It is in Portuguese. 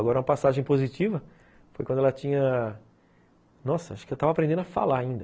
Agora, uma passagem positiva foi quando ela tinha... Nossa, acho que eu estava aprendendo a falar ainda.